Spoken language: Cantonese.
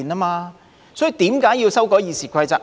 所以，為何要修改《議事規則》？